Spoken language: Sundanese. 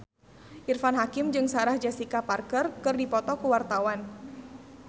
Irfan Hakim jeung Sarah Jessica Parker keur dipoto ku wartawan